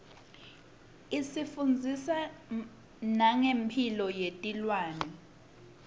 is ifundzisa mange mphilo yetrwane